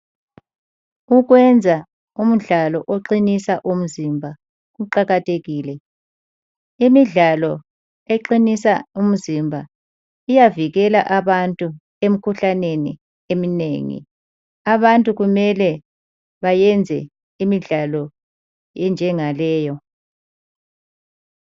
Ukwenza umdlalo oqinisa umzimba kuqakathekile. Imidlalo eqinisa umzimba iyavikela abantu emkhuhlaneni eminengi. Abantu kumele bayenze imidlalo enjengaleyo.